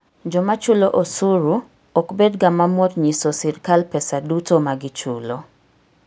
Joma chulo osuru ok bedga mamor nyiso sirkal pesa duto ma gichulo.